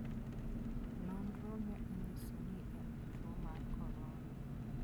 Nonrono ne onyiso ni en gi tuo mar corona.